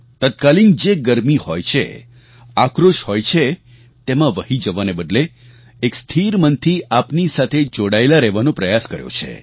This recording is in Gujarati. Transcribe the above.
તત્કાલીન જે ગરમી હોય છે આક્રોશ હોય છે તેમાં વહી જવાને બદલે એક સ્થિર મનથી આપની સાથે જોડાયેલા રહેવાનો પ્રયાસ કર્યો છે